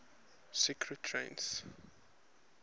secretariat